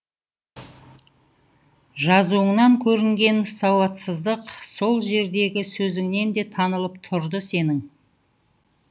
жазуыңнан көрінген сауатсыздық сол жердегі сөзіңнен де танылып тұрды сенің